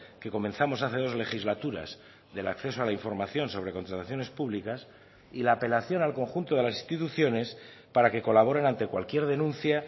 que comenzamos hace dos legislaturas del acceso a la información sobre contrataciones públicas y la apelación al conjunto de las instituciones para que colaboren ante cualquier denuncia